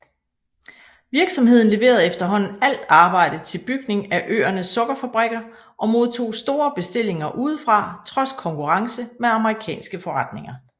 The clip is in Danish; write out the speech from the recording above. Virksomheden leverede efterhånden alt arbejde til bygning af øernes sukkerfabrikker og modtog store bestillinger udefra trods konkurrence med amerikanske forretninger